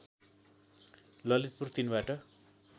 ललितपुर ३ बाट